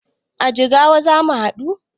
A Jigawa zamu haɗu